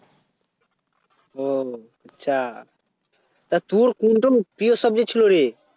ও আচ্ছা আর তোর কোনটা প্রিয় Subject ছিল রে